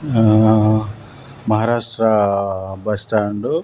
ఆ మహారాష్ట్ర బస్టాండు .